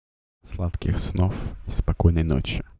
сладких снов спокойной ночи